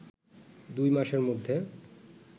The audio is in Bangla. দুই মাসের মধ্যে